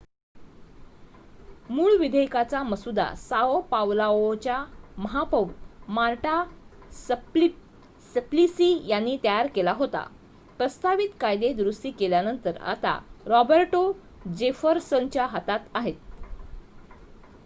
मूळ विधेयकाचा मसुदा साओ पावलोच्या महापौर मार्टा सप्लिसी यांनी तयार केला होता प्रस्तावित कायदे दुरुस्ती केल्यानंतर आता रॉबर्टो जेफरसनच्या हातात आहेत